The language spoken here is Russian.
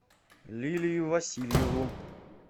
лилию васильеву